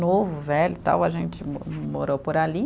novo, velho e tal, a gente mo morou por ali.